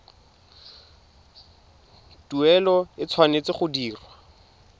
tuelo e tshwanetse go dirwa